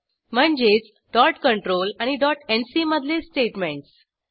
म्हणजेच dot control आणि dot ENDC मधले स्टेट्मेंट्स